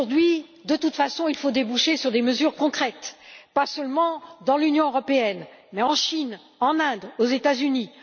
Mais aujourd'hui, de toute façon, il faut déboucher sur des mesures concrètes, pas seulement dans l'Union européenne, mais en Chine, en Inde, aux États Unis.